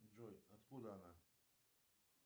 джой откуда она